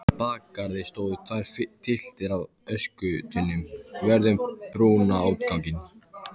Í bakgarði stóðu tvær tylftir af öskutunnum vörð um brunaútganginn.